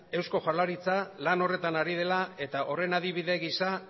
eusko jaurlaritza lan horretan ari dela eta horren adibide gisa